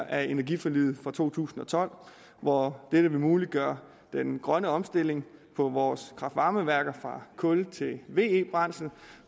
af energiforliget fra to tusind og tolv hvor dette vil muliggøre den grønne omstilling på vores kraft varme værker fra kul til ve brændsel